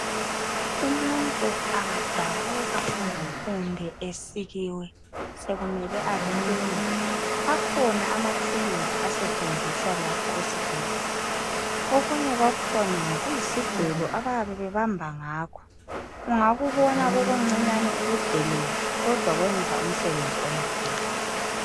Umuntu angadabuka kumbe esikiwe sokumele athungwe akhona amathuluzi asetshenziswa lapha esibhedlela, okunye kwakhona ngokuyisi gelo abayabe bebamba ngakho ungakubona kukuncinyane ukudelele kodwa kuyenza umsebenzi omkhulu.